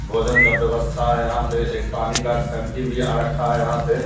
भोजन का व्यवस्था हैं यहाँ पे एक पानी का टंकी भी आ रखा हैं यहाँ पे।